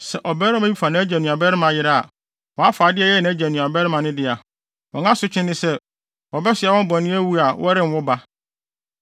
“ ‘Sɛ ɔbarima bi fa nʼagya nuabarima yere a, wafa ade a ɛyɛ nʼagya nuabarima no dea; wɔn asotwe ne sɛ, wɔbɛsoa wɔn bɔne awu a wɔrenwo ba.